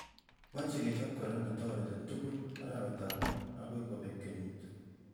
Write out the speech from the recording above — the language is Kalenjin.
Mechei kochop kora netoreti tugul arawetab mut akoy kopeku kenyit